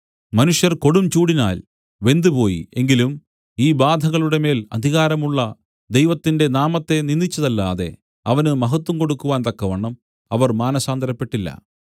മനുഷ്യർ കൊടുംചൂടിനാൽ വെന്തുപോയി എങ്കിലും ഈ ബാധകളുടെമേൽ അധികാരമുള്ള ദൈവത്തിന്റെ നാമത്തെ നിന്ദിച്ചതല്ലാതെ അവന് മഹത്വം കൊടുക്കുവാൻ തക്കവണ്ണം അവർ മാനസാന്തരപ്പെട്ടില്ല